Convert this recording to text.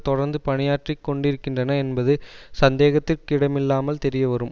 தொடர்ந்து பணியாற்றி கொண்டிருகின்றன என்பது சந்தேகத்திற்கிடமில்லாமல் தெரியவரும்